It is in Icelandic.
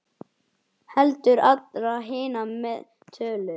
Heldur allra hinna með tölu.